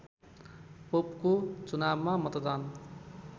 पोपको चुनावमा मतदान